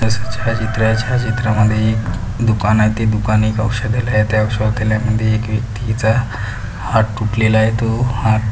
छायाचित्र आहे छायाचित्रामध्ये एक दुकान आहे ते दुकान एक औषधालय आहे त्या औषधालयामध्ये एक व्यक्तीचा हात तुटलेलाय तो हात --